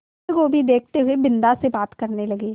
बन्दगोभी देखते हुए बिन्दा से बात करने लगे